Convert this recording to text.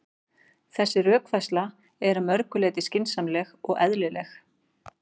Þessi rökfærsla er að mörgu leyti skynsamleg og eðlileg.